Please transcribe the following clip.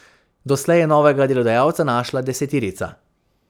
Doslej je novega delodajalca našla deseterica.